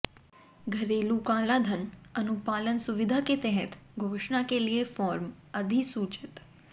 घरेलू कालाधन अनुपालन सुविधा के तहत घोषणा के लिए फॉर्म अधिसूचित